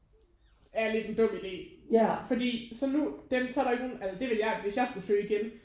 Er lidt en dum idé fordi så nu dem så er der ikke nogen eller det ville jeg hvis jeg skulle søge igen